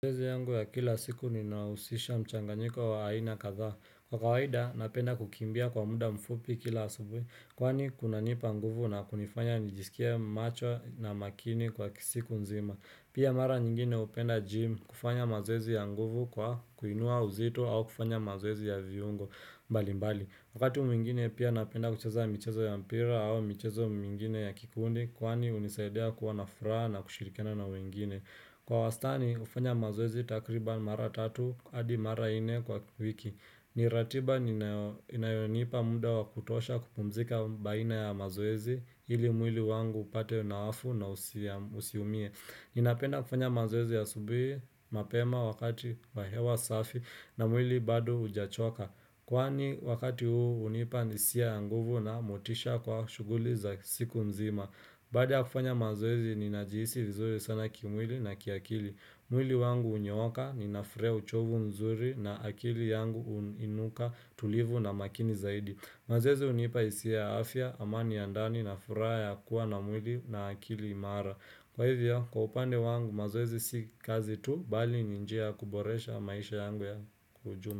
Mazoezi yangu ya kila siku ninahusisha mchanganyiko wa aina kadhaa. Kwa kawaida napenda kukimbia kwa muda mfupi kila asubuhi. Kwani kunanipa nguvu na kunifanya nijisikie macho na makini kwa siku nzima. Pia mara nyingine hupenda gym kufanya mazoezi ya nguvu kwa kuinua uzito au kufanya mazoezi ya viungo mbali mbali. Wakati mwingine pia napenda kucheza michezo ya mpira au michezo mwingine ya kikundi. Kwani hunisaidia kuwa na furaha na kushirikiana na wengine. Kwa wastani hufanya mazoezi takriban mara tatu adi mara nne kwa wiki ni ratiba ninao inayonipa muda wa kutosha kupumzika baina ya mazoezi ili mwili wangu upate nawafu na usiumie Ninapenda kufanya mazoezi asubuhi mapema wakati wa hewa safi na mwili bado hujachoka Kwani wakati huu hunipa hisia ya nguvu na motisha kwa shughuli za siku mzima Baada ya kufanya mazoezi ninajihisi vizuri sana kimwili na kiakili. Mwili wangu hunyooka, ninafurahia uchovu nzuri na akili yangu huinuka tulivu na makini zaidi. Mazoezi hunipa hisia ya afya, amani ya ndani na furaha ya kuwa na mwili na akili imara. Kwa hivyo, kwa upande wangu mazoezi si kazi tu, bali ni njia ya kuboresha maisha yangu ya kwa ujumla.